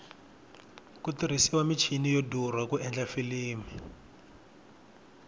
ku tirhisiwa michini yo durha ku endla filimi